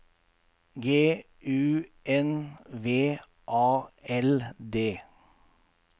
G U N V A L D